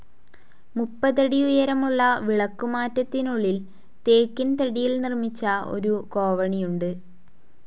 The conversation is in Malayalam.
മുപ്പതടി ഉയരമുളള വിളക്കുമാറ്റത്തിനുളളിൽ ടീക്ക്‌ തടിയിൽ നിർമിച്ച ഒരു കോവണിയുണ്ട്.